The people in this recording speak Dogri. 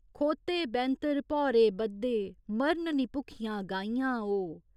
खोह्ते बैंह्तर भौरे बद्धे मरन निं भुक्खियां गाइयां ओ।